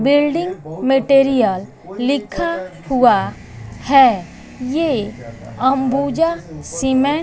building material लिखा हुआ है ये अंबुजा सीमेंट --